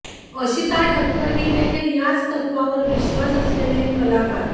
अशिता ठक्कर हीदेखील याच तत्त्वावर विश्वास असलेली एक कलाकार